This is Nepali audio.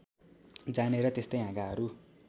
जाने र त्यस्तै हाँगाहरू